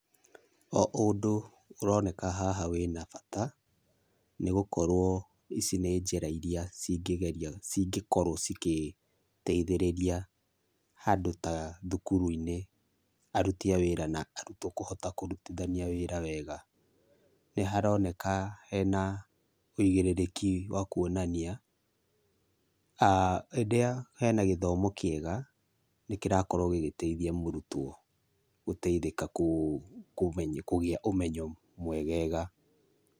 O ũndũ ũroneka haha wĩna bata, nĩgũkorwo ici nĩ njĩra iria cingĩgeria cingĩkorwo cikĩgeithĩrĩria handũ ta thukuru-inĩ aruti a wĩra na artwo kũhota kũrutithania wĩra wega. Nĩharoneka hena wĩigĩrĩrĩki wa kuonania, rĩrĩa hena gĩthomo kĩega nĩkĩrakorwo gĩgĩteithia mũrutwo gũteithĩka kũgĩa ũmenyo mwegega.